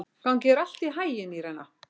Gangi þér allt í haginn, Írena.